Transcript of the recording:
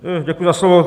Děkuji za slovo.